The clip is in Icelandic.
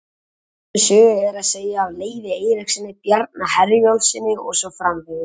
Sömu sögu er að segja af Leifi Eiríkssyni, Bjarna Herjólfssyni og svo framvegis.